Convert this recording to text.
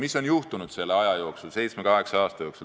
Mis on juhtunud selle aja jooksul, nende seitsme-kaheksa aasta jooksul?